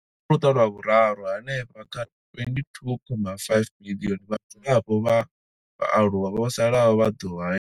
Kha Luṱa lwa Vhuraru, hanefha kha 22.5 miḽioni ya vhadzulapo vha vhaaluwa vho salaho vha ḓo haelwa.